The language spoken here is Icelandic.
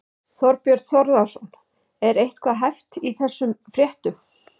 Þorbjörn Þórðarson: Er eitthvað hæft í þessum fréttum?